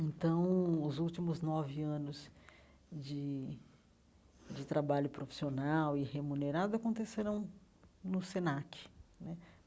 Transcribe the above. Então, os últimos nove anos de de trabalho profissional e remunerado aconteceram no Senac né.